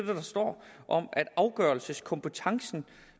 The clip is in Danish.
det der står om at afgørelseskompetencen